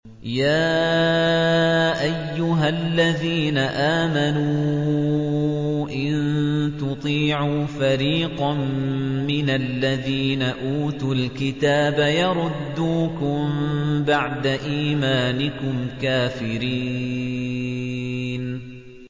يَا أَيُّهَا الَّذِينَ آمَنُوا إِن تُطِيعُوا فَرِيقًا مِّنَ الَّذِينَ أُوتُوا الْكِتَابَ يَرُدُّوكُم بَعْدَ إِيمَانِكُمْ كَافِرِينَ